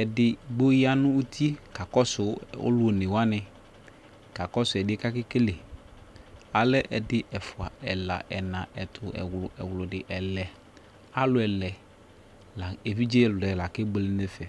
edigbo ya nʊ uti kakɔsʊ alʊ onewanɩ, kakɔsʊ ɛsɛ bua kʊ akewle, alɛ ɛdɩ, ɛfua, ɛla, ɛna, ɛtʊ, ɛwlʊ, ɛwlʊdɩ, ɛlɛ, emlo ɛlɛ la kebuele nʊ ɛfɛ